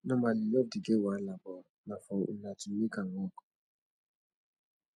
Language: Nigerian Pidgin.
normally luv dey get wahala but na for una to mek am wok